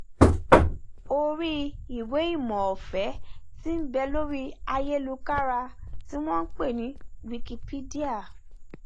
orí ìwéìmọ ọfẹ tí nbẹ lórí ayélukára tí wọn npè ní wikipedia